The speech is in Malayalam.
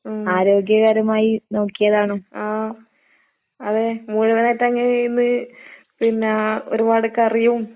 ഉം. ആഹ്, അതെ മുഴുവനായിട്ടങ്ങനെയിരുന്ന് പിന്നാ ഒരുപാട് കറിയും.